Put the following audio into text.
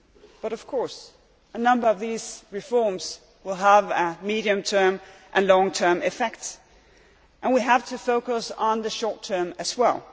But, of course, a number of these reforms will have medium term and long term effect, and we have to focus on the short term as well.